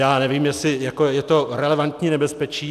Já nevím, jestli je to relevantní nebezpečí.